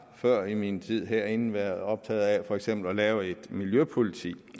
før i min tid herinde været optaget af for eksempel at lave et miljøpoliti